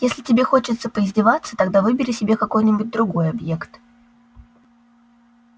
если тебе хочется поиздеваться тогда выбери себе какой-нибудь другой объект